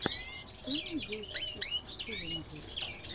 что найдешь из челленджей